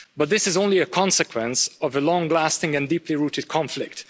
But this is only a consequence of the long lasting and deeply rooted conflict.